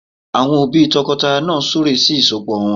Àwọn òbí tọkọtaya náà súre sí ìsọpọ̀ wọn